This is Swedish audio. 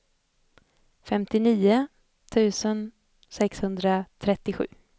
femtionio tusen sexhundratrettiosju